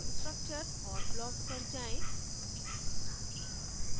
structure और blocks पर जायें